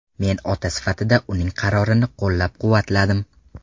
Men ota sifatida uning qarorini qo‘llab-quvvatladim.